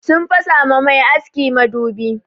Sun fasa ma mai aski madubi.